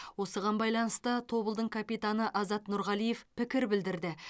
осыған байланысты тобылдың капитаны азат нұрғалиев пікір білдірді